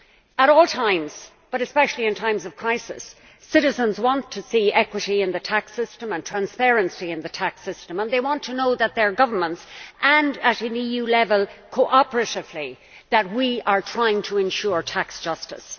At all times, but especially in times of crisis, citizens want to see equity in the tax system and transparency in the tax system and they want to know that their governments and, at an EU level cooperatively, that we are trying to ensure tax justice.